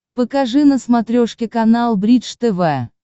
покажи на смотрешке канал бридж тв